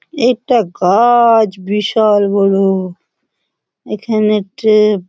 এটা গা-আ-আছ ব্রিশাল বড়ো এখানে ট্রেপ --